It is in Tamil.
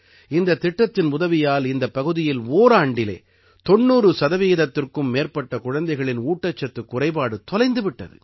இந்தத் திட்டத்தின் உதவியால் இந்தப் பகுதியில் ஓராண்டிலே 90 சதவீதத்திற்கும் மேற்பட்ட குழந்தைகளின் ஊட்டச்சத்துக் குறைபாடு தொலைந்து விட்டது